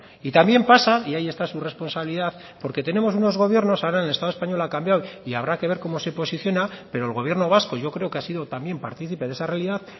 y también pasa y ahí está su responsabilidad porque tenemos unos gobiernos ahora en el estado español ha cambiado y habrá que ver como se posiciona pero el gobierno vasco yo creo que ha sido también participe de esa realidad